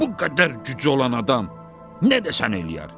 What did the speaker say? Bu qədər gücü olan adam nə də sən eləyər?